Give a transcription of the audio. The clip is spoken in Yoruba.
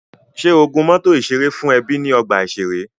Ṣé o gun mọ́tọ̀ ìṣeré fún ẹbí ní ọgbà ìṣeré?